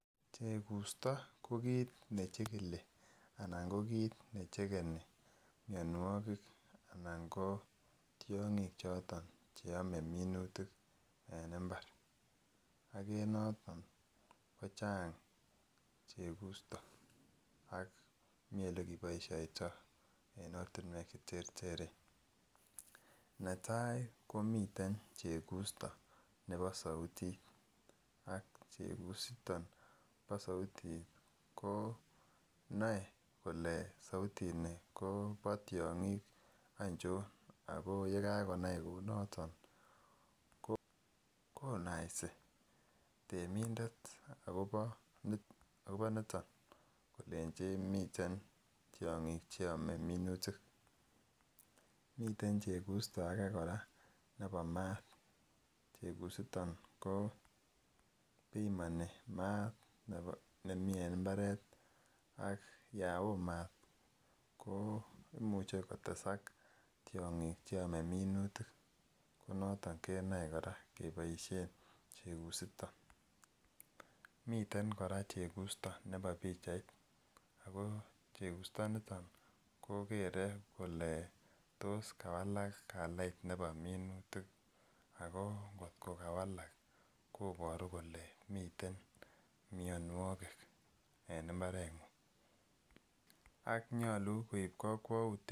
Chegusto ko kit nechekeni mionwokik ana ko tyongik choton cheome minutik en imbar ak en yoton kochang chegusto, Mii ele keboishoito en ortunwek cheterteren , netai komiten chegusto nebo souti ak chegusto nebo souti ko noe kole soutini Kobo tyongik ochon ako yekakonai kou noton konasi temindet akobo nit akobo niton kolenchi miten tyongik cheome minutik, miten chegusto age koraa nebo maat chegusiton ko pimoni mat nebo nemii en imbaret ak yon woo mat ko imuche kotesak tyongik cheome minutik ko noton kenoe Koraa keboishen chegusiton. Miten Koraa chegusto nebo pichait ako chegusto niton kokere kole tos kawalak kalait nebo minutik ako kotko kawalak koboru kole miten mionwokik e n imbarenguny ak nyolu koib kokwoutit.